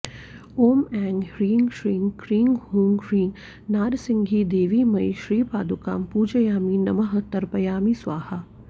ॐ ऐं ह्रीं श्रीं क्रीं हूं ह्रीं नारसिंहीदेवीमयी श्रीपादुकां पूजयामि नमः तर्पयामि स्वाहा